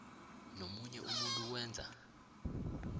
nomunye umuntu owenza